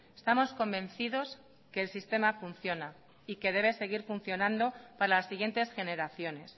estamos convencidos que el sistema funciona y que debe seguir funcionando para las siguientes generaciones